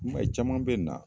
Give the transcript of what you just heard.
I m'a caman be na